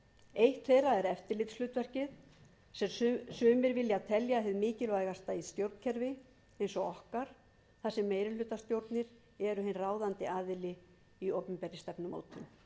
eitt þeirra er eftirlitshlutverkið sem sumir vilja telja hið mikilvægasta í stjórnkerfi eins og okkar þar sem meirihlutastjórnir eru hinn ráðandi aðili í opinberri stefnumótun